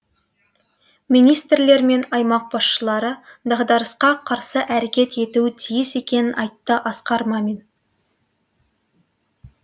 министрлер мен аймақ басшылары дағдарысқа қарсы әрекет етуі тиіс екенін айтты асқар мамин